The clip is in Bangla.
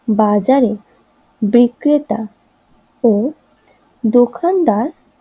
বাজারে বিক্রেতা ও দোকানদার